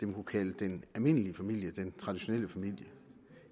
kunne kalde den almindelige familie den traditionelle familie